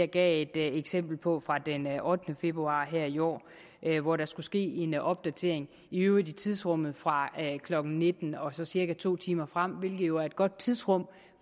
gav et eksempel på fra den ottende februar her i år hvor der skulle ske en opdatering i øvrigt i tidsrummet fra klokken nitten og så cirka to timer frem hvilket jo er et godt tidsrum